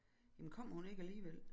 Jamen kom hun ikke alligevel